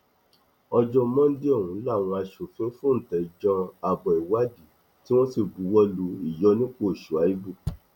ọjọ mọ́ńdè ọhún làwọn aṣòfin fóúntẹ jan abo ìwádìí tí wọn sì buwọ lu ìyọnipọ shuaïbù